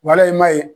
Wala i ma ye